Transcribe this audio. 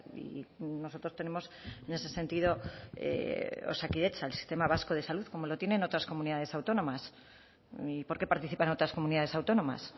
y nosotros tenemos en ese sentido osakidetza el sistema vasco de salud como lo tienen otras comunidades autónomas y por qué participan otras comunidades autónomas